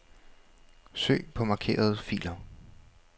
Søg på markerede filer.